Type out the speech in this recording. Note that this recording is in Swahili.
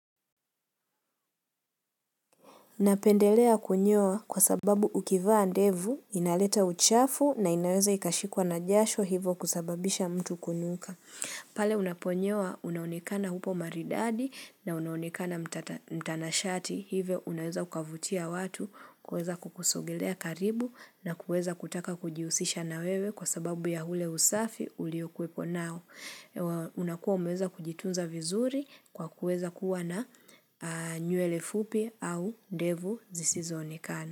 Napendelea kunyoa kwa sababu ukivaa ndevu, inaleta uchafu na inaweza ikashikwa na jasho hivo kusababisha mtu kunuka. Pale unaponyoa unaonekana upo maridadi na unaonekana mtanashati hivyo unaweza ukavutia watu kueza kukusogelea karibu na kueza kutaka kujihusisha na wewe kwa sababu ya ule usafi uliokwepo nao. Unakuwa umeweza kujitunza vizuri kwa kuweza kuwa na nywele fupi au ndevu zisizoonekana.